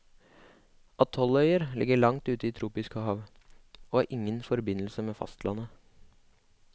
Atolløyer ligger langt ute i tropiske hav, og har ingen forbindelse med fastlandet.